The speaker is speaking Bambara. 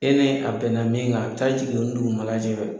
E ni a bɛn na mun kan ,a bi taa jigin oni dugumana cɛ.